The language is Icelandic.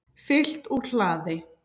Fylgt úr hlaði